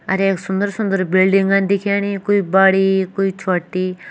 अर यख सुंदर सुन्दर बिल्डिंगन दिखेणी कोई बड़ी कोई छोटी --